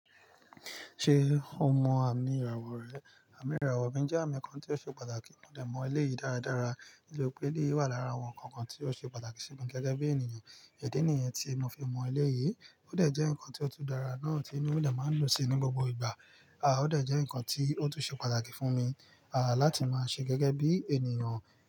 Ṣé o mọ àmì ìràwọ̀ rẹ? Àmì ìràwọ̀ mi jẹ́ àmì kan tí ó ṣe pàtàkì mo dẹ mọ eleyìí dáradára. Nítorí pe eleyii wà lára àwọn nǹkan kan tí ó ṣe pàtàkì sí mi gẹ́gẹ́ bí ènìyàn. Idínìyẹn tí mo fi mọ eleyìí ó dẹ̀ jẹ́ nǹkan tí ó tú darà náà tí inú mi dẹ máa ń dun sí ní gbogbo ìgbà. À ó dẹ̀ jẹ́ nǹkan tí ó tún ṣe pàtàkì fún mi, à láti máa ṣe gẹ́gẹ́ bí ènìyàn.